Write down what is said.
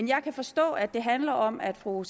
jeg kan forstå at det handler om at fru